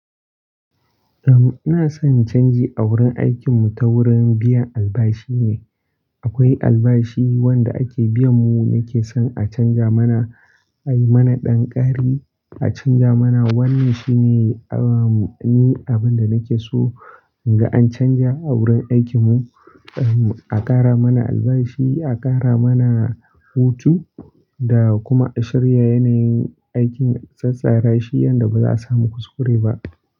Eh, ina son canji a wurin aikin mu, ta wurin biyan albashi ne. Akwai albashi wanda ake biya mu nake son a canja mana, a yi mana ɗan ƙari, a canja mana. Wannan shine abin da nake so, in ga an canja a wurin aikin mu, a ƙara mana albashi, a ƙara mana hutu, da kuma a shirya yana yin aikin a tsatsarashi yanda ba za su samu kuskure ba.